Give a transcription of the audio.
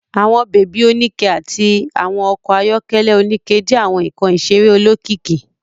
Àwọn baby onikẹ àti àwọn okò ayọkẹlẹ onikẹ jẹ àwọn nkán iṣere olókìkí